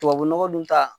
Tubabu nɔgɔ dun ta